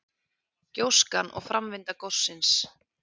Gjóskan og framvinda gossins.